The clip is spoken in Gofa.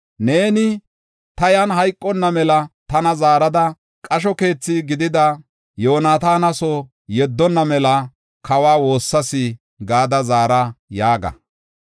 Neeni, ‘Ta yan hayqonna mela tana zaarada qasho keethi gidida Yoonataana soo yeddonna mela kawa woossas’ ” gada zara yaaga.